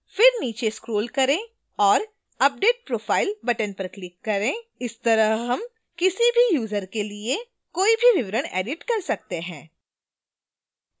फिर नीचे scroll करें और update profile button पर click करें इसी तरह हम किसी भी यूजर के लिए कोई भी विवरण edit कर सकते हैं